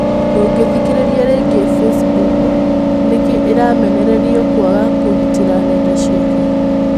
Ndungithĩkĩrĩria rĩngĩ bicimbuku:Nĩkĩĩ ĩramenererĩo kwaga kũgĩtĩra nenda ciake?